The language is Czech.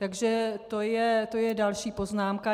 Takže to je další poznámka.